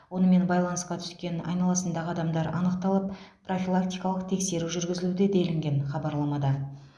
онымен байланысқа түскен айналасындағы адамдар анықталып профилактикалық тексеру жүргізілуде делінген хабарламада